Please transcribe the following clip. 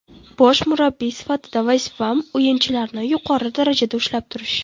Bosh murabbiy sifatida vazifam o‘yinchilarni yuqori darajada ushlab turish.